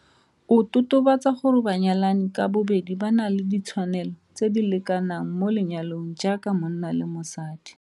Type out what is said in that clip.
O totobatsa gore banyalani ka bobedi ba na le ditshwanelo tse di lekanang mo lenyalong jaaka monna le mosadi.